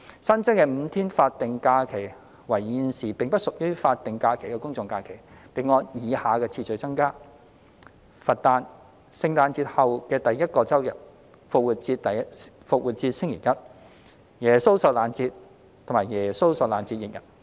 新增的5天法定假日為現時並不屬於法定假日的公眾假期，並按以下次序增加：佛誕、聖誕節後第一個周日、復活節星期一、耶穌受難節和耶穌受難節翌日。